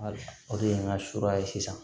O de ye n ka ye sisan